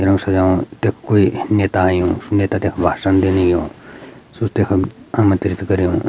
इनो सजायु तख कुई नेता अयूं नेता तख भासन दिनी यु सु तखम आमंत्रित कर्युं।